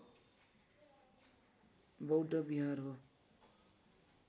बौद्ध विहार हो